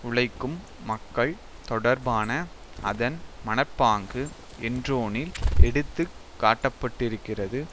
உழைக்கும் மக்கள் தொடர்பான அதன் மனப்பாங்கு என்ரோனில் எடுத்து காட்டப்பட்டிருக்கிறது